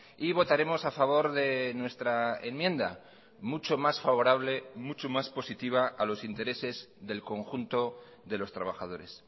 y votaremos a favor de nuestra enmienda mucho más favorable mucho más positiva a los intereses del conjunto de los trabajadores